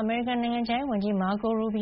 အမေရိကန် နိုင်ငံခြားရေးဝန်ကြီး မာကို ရူဘီ